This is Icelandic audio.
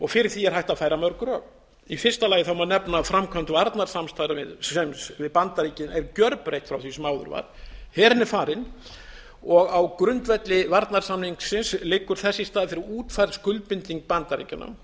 fyrir því er hægt að færa mörg rök í fyrsta lagi má nefna framkvæmd varnarstarfsins við bandaríkin er gjörbreytt frá því sem áður var herinn er farinn á grundvelli varnarsamningsins liggur þess í stað útfærð skuldbinding bandaríkjanna